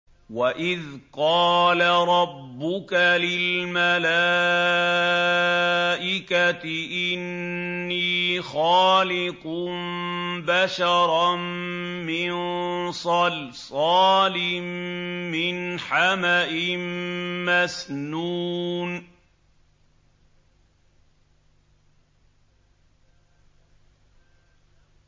وَإِذْ قَالَ رَبُّكَ لِلْمَلَائِكَةِ إِنِّي خَالِقٌ بَشَرًا مِّن صَلْصَالٍ مِّنْ حَمَإٍ مَّسْنُونٍ